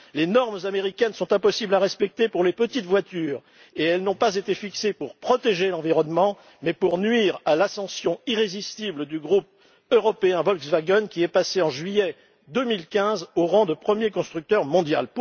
Les normes américaines sont impossibles à respecter pour les petites voitures et elles n'ont pas été fixées pour protéger l'environnement mais pour nuire à l'ascension irrésistible du groupe européen Volkswagen, qui est passé, en juillet 2015, au rang de premier constructeur mondial.